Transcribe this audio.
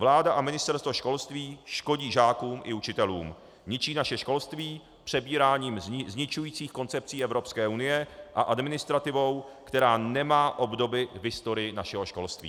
Vláda a Ministerstvo školství škodí žákům i učitelům, ničí naše školství přebíráním zničujících koncepcí Evropské unie a administrativou, která nemá obdoby v historii našeho školství.